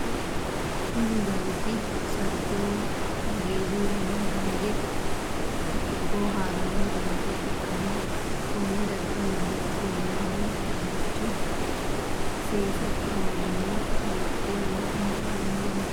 Kunni dargi sarge woyi hagiiru yanna dange booharanni darga ikanna konne darga noori ufolinnanni barcimi seesu awawinna woleno insa lawanori no.